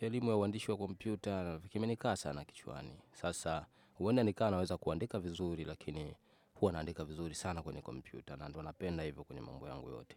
elimu ya uandishi wa kompyuta kimenikaa sana kichwani. Sasa huenda nikama naweza kuandika vizuri lakini huwa naandika vizuri sana kwenye kompyuta na ndiyo napenda hivyo kwenye mambo yangu yote.